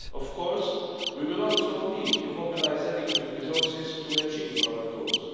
Of course, we will also need to mobilise adequate resources to achieve our goals.